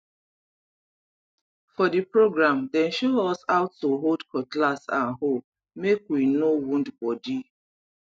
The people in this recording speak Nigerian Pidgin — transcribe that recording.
for the program dem show us how to hold cutlass and hoe make we no wound body